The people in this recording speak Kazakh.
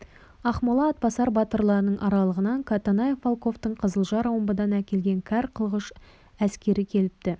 ақмола атбасар батырларының аралығынан катанаев волковтың қызылжар омбыдан әкелген кәр қылғыш әскері келіпті